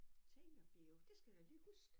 Seniorbio det skal jeg da lige huske